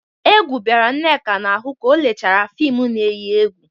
Egwu bịara Nneka n'ahụ ka o lechara fịmụ na-eyi egwu.